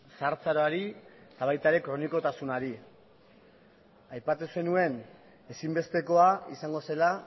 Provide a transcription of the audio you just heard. zahartzaroari eta baita kronikotasunari ere aipatu zenuen ezinbestekoa izango zela